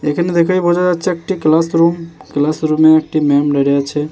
এখানে দেখেই বোঝা যাচ্ছে একটি ক্লাসরুম |ক্লাসরুম -এ একটি ম্যাম দাঁড়ায় আছে |